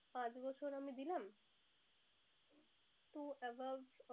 পাঁচ বছর আমি দিলাম।